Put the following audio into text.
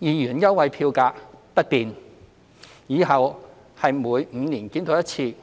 兩元優惠票價不變，往後是每5年檢討一次，